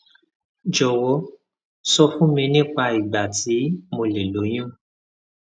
jọwọ sọ fún mi nípa ìgbà tí mo lè lóyún